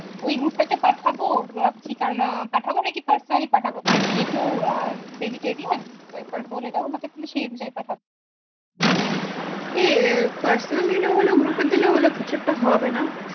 ওই group টা তে পাঠাবো কারণ পাঠাবো নাকি personal পাঠাবো কারণ এ তো vegetarian তো তাই বলে দাও সেই অনুযায়ী পাঠাবো। এ personal দিলে ও হলো group এ দিলে ও হলো কিছু একটা হবে না